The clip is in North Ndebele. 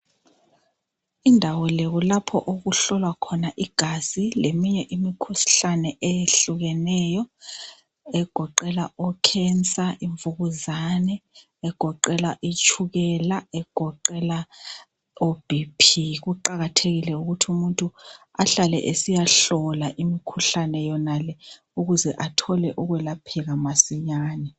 Indawo le kulapho okuhlolwa khona igazi, leminye imikhuhlane eyehlukeneyo. Egoqela ocancer, imvukuzane, egoqela itshukela, egoqela oBP. Kuqakathekile ukuthi umuntu ahlale esiyahlola imikhuhlane yonale, ukuze athole ukwelapheka masinyane.